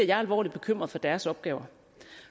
jeg alvorligt bekymret for deres opgaver